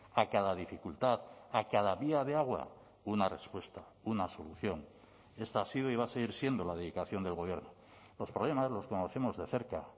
a cada dificultad a cada día de agua una respuesta una solución esta ha sido y va a seguir siendo la dedicación del gobierno los problemas los conocemos de cerca